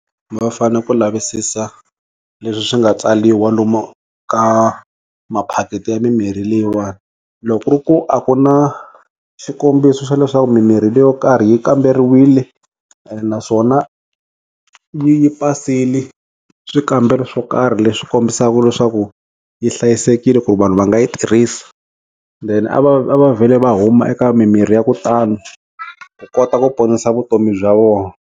Va fana ku lavisisa leswi swi nga tsaliwa lomu ka maphaketi ya mimirhi leyiwani loko ku ri ku a ku na xikombiso xa leswaku mimirhi leyo karhi yi kamberiwile ene naswona yi pasile swikambelo swo karhi leswi kombisaka leswaku yi hlayisekile ku vanhu va nga yi tirhisa then a va va vhele va huma eka mimirhi ya kutani ku kota ku ponisa vutomi bya vona.